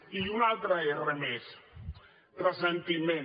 i una altra erra més ressentiment